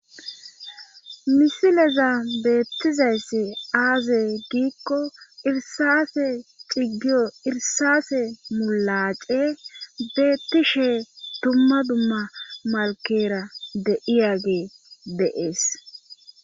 misileza beettizayssi aazey giikko irsafe ciggiyo irsase mulace beettishe dumma dumma malkera deiyage deees